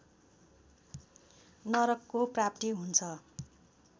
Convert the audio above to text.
नरकको प्राप्ति हुन्छ